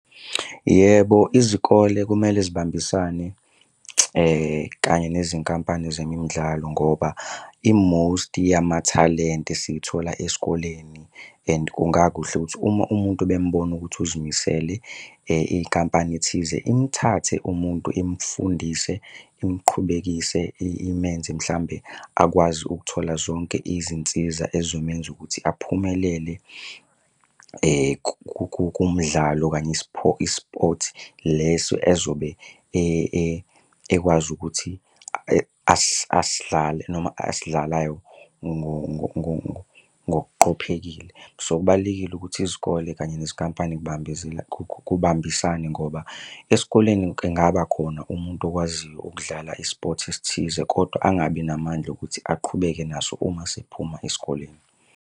Yebo, izikole kumele zibambisane kanye nezinkampani zemidlalo ngoba i-most yamathalente siyithola esikoleni and kungakuhle ukuthi uma umuntu bembona ukuthi uzimisele, inkampani thize imthathe umuntu imfundise imqhubekise imenze mhlambe akwazi ukuthola zonke izinsiza ezizomenza ukuthi aphumelele kumdlalo okanye i-sport leso ezobe ekwazi ukuthi asidlale noma asidlalayo ngokuqophekile. So, kubalulekile ukuthi izikole kanye nezinkampani kubambisane ngoba esikoleni engaba khona umuntu okwaziyo ukudlala i-sport esithize kodwa angabi namandla ukuthi aqhubeke naso uma sephuma esikoleni.